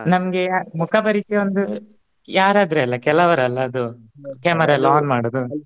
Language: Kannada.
ನಮ್ಗೆ ಮುಖ ಪರಿಚಯ ಒಂದು ಯಾರು ಆದ್ರು ಅಲ್ಲಾ ಕೆಲ್ವರ್ ಅಲ್ಲಾ ಅದು camera ಎಲ್ಲ on ಮಾಡುವುದು.